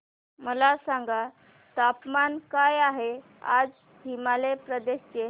मला सांगा तापमान काय आहे आज हिमाचल प्रदेश चे